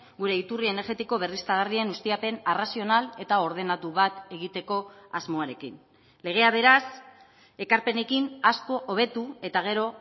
gure iturri energetiko berriztagarrien ustiapen arrazional eta ordenatu bat egiteko asmoarekin legea beraz ekarpenekin asko hobetu eta gero